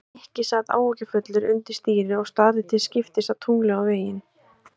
Nikki sat áhyggjufullur undir stýri og starði til skiptist á tunglið og veginn.